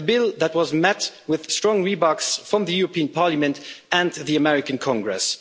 a bill that was met with strong rebukes from the European Parliament and the American Congress